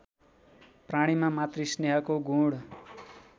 प्राणीमा मातृस्नेहको गुण